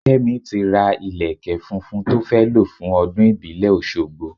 Kẹ́mi ti ra ìlékè funfun tó fẹ́ lo fún ọdún ìbílẹ̀ Oṣogbo.